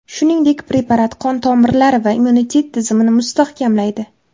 Shuningdek, preparat qon tomirlari va immunitet tizimini mustahkamlaydi.